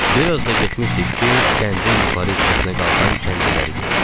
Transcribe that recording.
Bir az da getmişdik ki, kəndin yuxarı hissəsinə qalxan kəndliləri gördük.